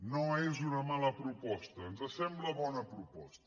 no és una mala proposta ens sembla bona proposta